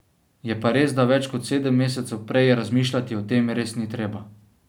Je pa res, da več kot sedem mesecev prej razmišljati o tem res ni treba.